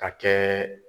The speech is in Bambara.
Ka kɛ